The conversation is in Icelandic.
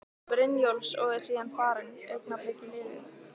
Brynjólfs og er síðan farin, augnablikið liðið.